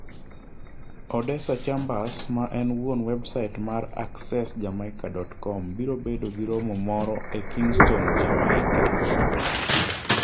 Odessa Chambers, ma en wuon websait mar accessjamaica.com, biro bedo gi romo moro e Kingston, Jamaica.